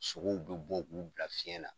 Sogow bi bɔ , u b'u bila fiɲɛ na.